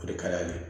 O de ka d'an ye